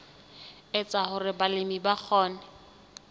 etsa hore balemi ba kgone